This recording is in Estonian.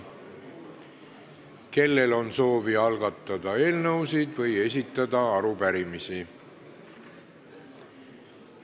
Kellel on soovi algatada eelnõusid või esitada arupärimisi?